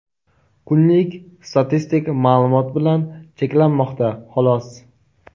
kunlik statistik ma’lumot bilan cheklanmoqda xolos.